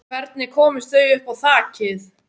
Hvernig komust þau upp á þakið?